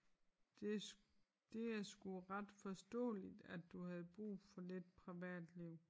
Det det er sgu ret forståeligt at du havde brug for lidt privatliv